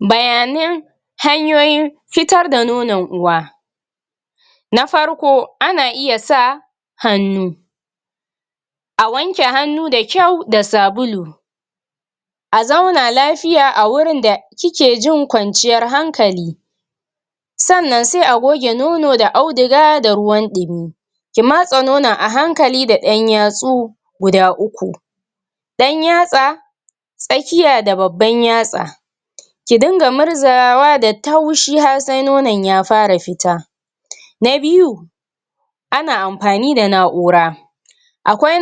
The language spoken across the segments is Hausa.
Bayanan hanyoyin fitar da nonon uwa na farko ana iya sa hannu a wanke hannu da kyau da sabulu a zauna lafiya a wurin da kike jin kwanciyar hankali sannan sai a goge nono da auduga da ruwan ɗimi ki matse nonon a hankali da ƴan yatsu guda uku ɗan yatsa tsakiya da babban yatsa ki dinga murzawa da taushi har sai nonon ya fara fita na biyu ana amfani da na'ura akwai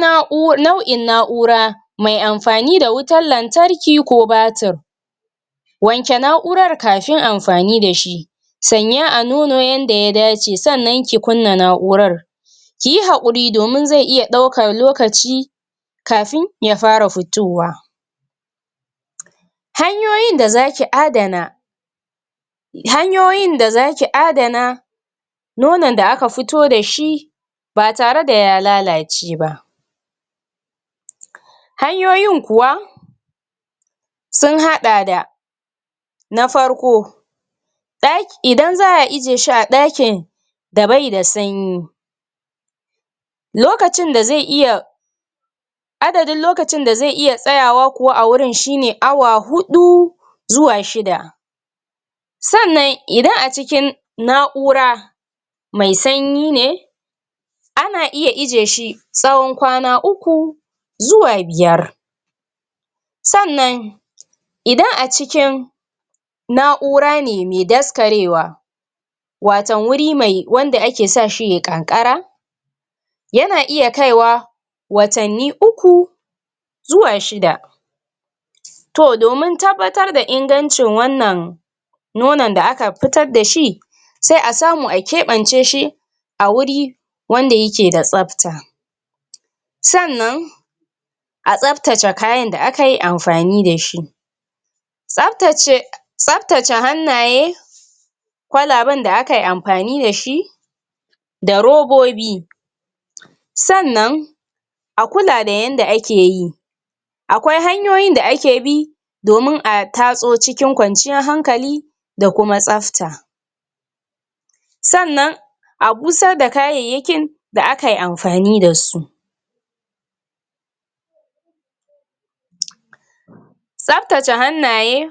nau'in na'ura mai amfani da wutar lantarki ko batir wanke na'urar kafin amfani da shi sanya a nono yanda ya dace sannan ki kunna na'urar kiyi haƙuri domin zai iya ɗaukan lokaci kafin ya fara fitowa hanyoyin da za ki adana hanyoyin da za ki adana nonon da aka fito da shi ba tare da ya lalace ba hanyoyin kuwa sun haɗa da na farko ɗa idan za a ijiye shi a ɗakin da bai da sanyi lokacin da zai iya adadin lokacin da iya tsayawa kuwa a wurin shine awa huɗu zuwa shida sannan idan a cikin na'ura mai snayi ne ana iya ijiye shi tsawon kwana uku zuwa biyar sannan idan a cikin na'ura ne mai daskarewa waton wuri mai wanda ake sa shi yayi ƙanƙara yana iya kaiwa watanni uku zuwa shida to domin tabbatar da ingancin wannan nonon da aka fitar da shi sai a samu a keɓance shi a wuri wanda yake da tsabta sannan a tsabtace kayan da akayi amfani da shi tsabtace tsabtace hannaye kwalaben da akayi amfanin da shi da robobi sannan a kula da yanda ake yi akwai hanyoyin da ake bi domin a tatso cikin kwanciyar hankali da kuma tsabta sannan a busar da kayayyakin da akayi amfani da su tsabtace hannaye.